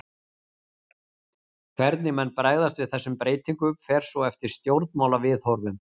Hvernig menn bregðast við þessum breytingum fer svo eftir stjórnmálaviðhorfum.